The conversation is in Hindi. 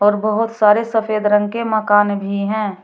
और बहोत सारे सफेद रंग के मकान भी हैं।